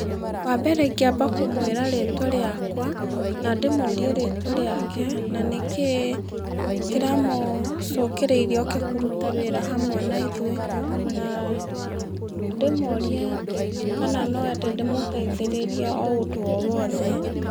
Wambere ingĩamba kũmwĩra rĩtwa rĩakwa, na ndĩmũrie rĩtwa rĩkae, na nĩkĩ kĩramũcungĩrĩirie oke kũruta wĩra hamwe naithũĩ, na ndĩmũrie, kana noende ndĩmũteithĩrĩrie o ũndũ o wothe.